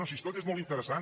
no si tot és molt interessant